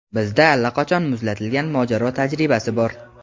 Bizda allaqachon muzlatilgan mojaro tajribasi bor.